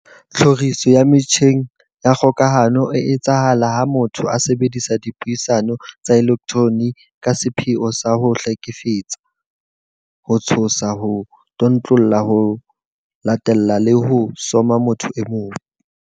Tlhoriso ya metjheng ya kgokahano e etsahala ha motho a sebedisa dipuisano tsa elektroniki ka sepheo sa ho hlekefetsa, ho tshosa, ho tlontlolla, ho latella le ho soma motho e mong.